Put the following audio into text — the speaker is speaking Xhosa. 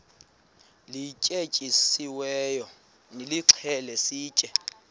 lityetyisiweyo nilixhele sitye